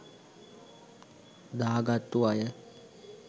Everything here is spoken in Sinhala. දා ගත්තු අය.